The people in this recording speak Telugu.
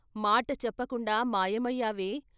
మాట చెప్పకుండా మాయమయ్యావే.